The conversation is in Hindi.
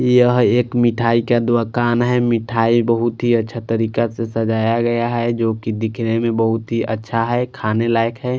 यह एक मिठाई क दुकान है मिठाई बहुत ही अच्छा तरीका से सजाया गया है जो कि दिखने में बहुत ही अच्छा है खाने लायक है।